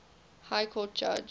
high court judge